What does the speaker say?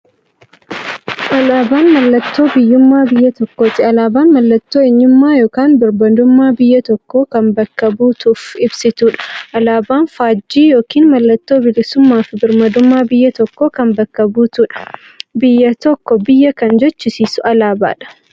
Alaaban mallattoo biyyuummaa biyya tokkooti. Alaabaan mallattoo eenyummaa yookiin birmaadummaa biyya tokkoo kan bakka buutuuf ibsituudha. Alaaban faajjii yookiin maallattoo bilisuummaafi birmaadummaa biyya tokkoo kan bakka buutuudha. Biyya tokko biyya kan jechisisuu alaabadha.